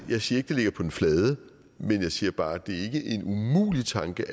jeg siger ikke det ligger på den flade men jeg siger bare at det er en umulig tanke